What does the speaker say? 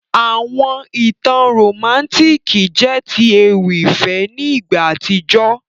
Àwọn ìtàn romantiki jẹ ti ewì ìfẹ́ ni ìgbà àtíjó.